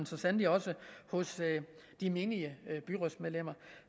så sandelig også hos de menige byrådsmedlemmer